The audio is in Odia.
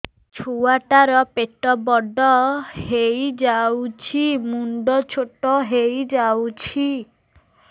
ଛୁଆ ଟା ର ପେଟ ବଡ ହେଇଯାଉଛି ମୁଣ୍ଡ ଛୋଟ ହେଇଯାଉଛି